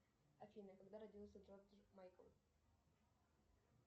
афина когда родился джордж майкл